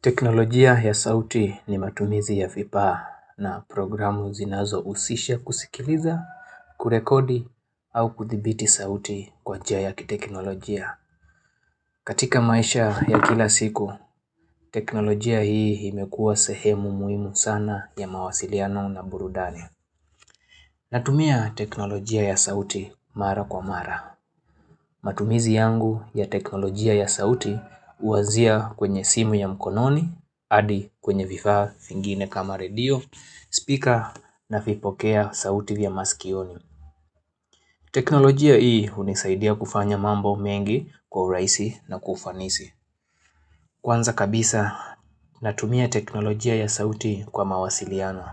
Teknolojia ya sauti ni matumizi ya vifaa na programu zinazohusisha kusikiliza, kurekodi au kuthibiti sauti kwa njia ya kiteknolojia. Katika maisha ya kila siku, teknolojia hii imekua sehemu muhimu sana ya mawasiliano na burudani. Natumia teknolojia ya sauti mara kwa mara. Matumizi yangu ya teknolojia ya sauti huanzia kwenye simu ya mkononi, adi kwenye vifaa vingine kama radio, speaker navipokea sauti vya maskioni. Teknolojia hii hunisaidia kufanya mambo mengi kwa urahisi na kwa ufanisi. Kwanza kabisa natumia teknolojia ya sauti kwa mawasiliano,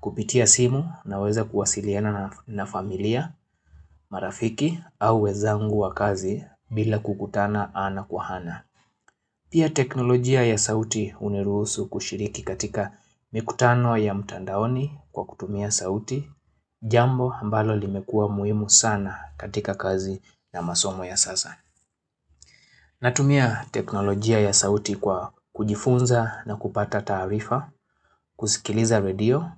kupitia simu naweza kuwasiliana na familia, marafiki au wezangu wa kazi bila kukutana ana kwa ana. Pia teknolojia ya sauti hunirusu kushiriki katika mikutano ya mtandaoni kwa kutumia sauti, jambo ambalo limekua muhimu sana katika kazi na masomo ya sasa. Natumia teknolojia ya sauti kwa kujifunza na kupata taarifa, kusikiliza radio,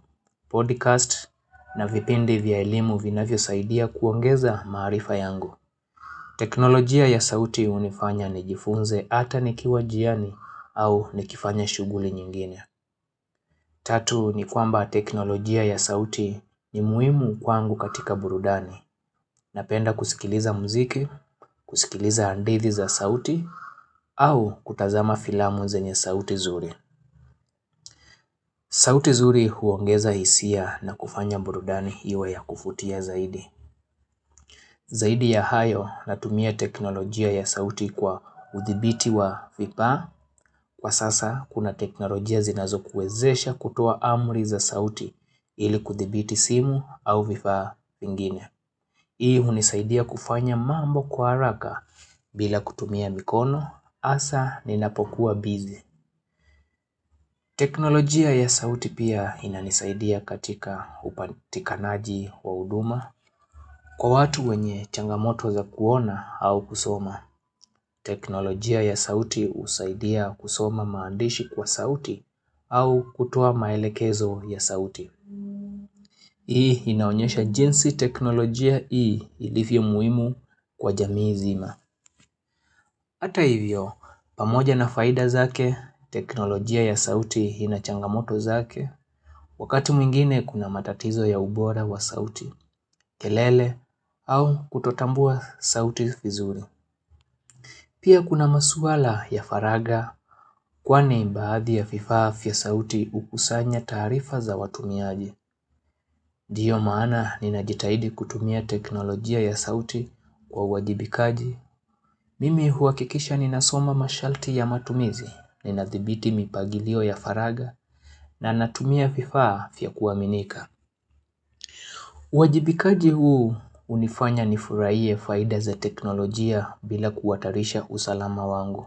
podcast na vipindi vya elimu vinavyo saidia kuongeza maarifa yangu. Teknolojia ya sauti hunifanya nijifunze ata nikiwa njiani au nikifanya shughuli nyingine. Tatu ni kwamba teknolojia ya sauti ni muhimu kwangu katika burudani. Napenda kusikiliza muziki, kusikiliza handithi za sauti au kutazama filamu zenye sauti nzuri. Sauti zuri huongeza hisia na kufanya burudani iwe ya kuvutia zaidi. Zaidi ya hayo natumia teknolojia ya sauti kwa udhibiti wa vipaa. Kwa sasa kuna teknolojia zinazokuwezesha kutoa amri za sauti ili kudhibiti simu au vifaa vingine. Hii hunisaidia kufanya mambo kwa haraka bila kutumia mikono hasa ninapokuwa busy. Teknolojia ya sauti pia inanisaidia katika upatikanaji wa huduma kwa watu wenye changamoto za kuona au kusoma. Teknolojia ya sauti husaidia kusoma maandishi kwa sauti au kutoa maelekezo ya sauti. Hii inaonyesha jinsi teknolojia hii ilivyo muhimu kwa jamii nzima. Ata hivyo, pamoja na faida zake, teknolojia ya sauti inachangamoto zake, wakati mwingine kuna matatizo ya ubora wa sauti, kelele, au kutotambua sauti vizuri. Pia kuna masuala ya faraga kwani baadhi ya vifaa vya sauti hukusanya taarifa za watumiaji. Ndiyo maana ninajitahidi kutumia teknolojia ya sauti kwa uwajibikaji. Mimi huakikisha ninasoma masharti ya matumizi, ninadhibiti mipangilio ya faragha na natumia vifaa vya kuaminika. Uwajibikaji huu hunifanya nifurahie faida za teknolojia bila kuhatarisha usalama wangu.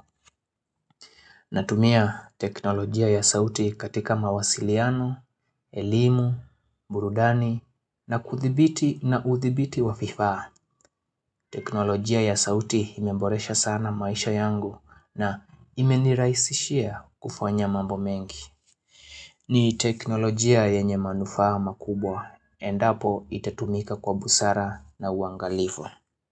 Natumia teknolojia ya sauti katika mawasiliano, elimu, burudani na kuthibiti na uthibiti wa vifaa. Teknolojia ya sauti imemboresha sana maisha yangu na imenirahisishia kufanya mambo mengi ni teknolojia yenye manufaa makubwa Endapo itatumika kwa busara na uangalifo.